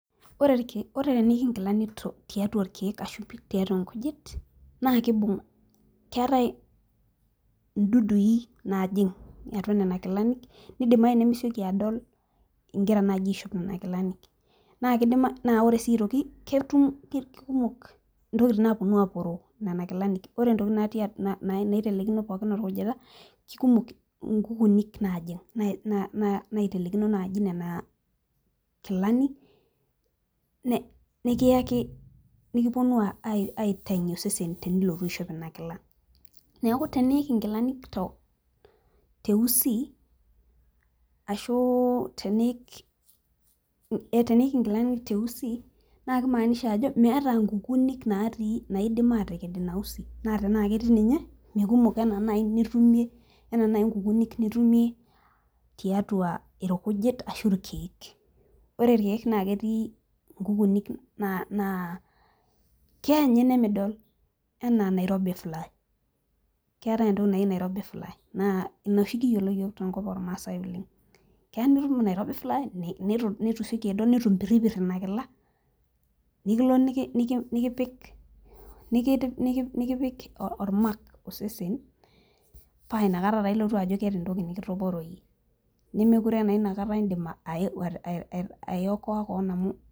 Ore teniik inkilani tiatua irkeek ashu ipik tiatua nkujit naa ekibung',keetae idudui naajing' atua Nena Kilani, nidimayu nimisioki ado igira naaji aishoo Nena kilanik. naa ore sii aitoki ketum. kikumok Intokitin naapuonu aaporoo. nena kilanik. ore ntokitin naitelekino pookin orkujita. kikumok nkukunik naajing'.naotelekino naaji Nena kilani. nikiaki, nikipuonu aapuonu sitaki osesen tenilotu aishop Ina Kila, neeku teniik nkilani teusi, ashu teniik inkilani teusi, naa kimaanisha ajo meeta nkukunik naidim aateked Ina usi. naa tenaa ketii ninye mikumok anaa initumie .anaa naaji nkukunik nitumie, tiatua irkujit ashu irkeek. ore irkeek na ketii nkukunik naa keya ninye nemidol anaa Nairobi fly keetae entoki naji Nairobi fly naa Ina oshi kiyiolo iyiook te nkop oormaasae oleng. keya nitum Nairobi fly niitu isioki adol neitu impiripir Ina kila nikilo nikipik ol mark osesen. paa inakata taa ilotu ajo keeta entoki nikitaporoyie, nemekure taa inakata idim ayokoa koona amu,